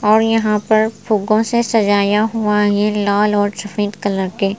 और यहाँ पर फूकों से सजाया हुआ ये लाल और सफेद कलर के --